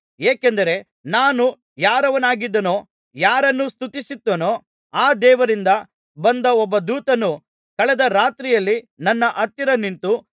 ಏಕೆಂದರೆ ನಾನು ಯಾರವನಾಗಿದ್ದೇನೋ ಯಾರನ್ನು ಸ್ತುತಿಸುತ್ತೇನೋ ಆ ದೇವರಿಂದ ಬಂದ ಒಬ್ಬ ದೂತನು ಕಳೆದ ರಾತ್ರಿಯಲ್ಲಿ ನನ್ನ ಹತ್ತಿರ ನಿಂತು